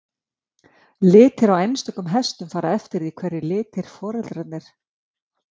litir á einstökum hestum fara eftir því hverjir litirnir á foreldrum þeirra voru